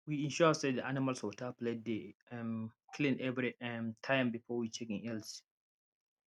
we ensure say the animals water plate dey um clean every um time before we check en health